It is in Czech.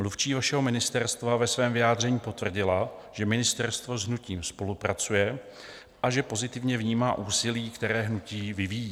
Mluvčí vašeho ministerstva ve svém vyjádření potvrdila, že ministerstvo s hnutím spolupracuje a že pozitivně vnímá úsilí, které hnutí vyvíjí.